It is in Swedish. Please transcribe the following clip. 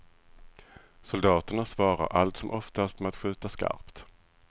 Soldaterna svarar allt som oftast med att skjuta skarpt.